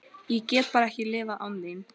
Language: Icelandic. Ég get bara ekki lifað án þín.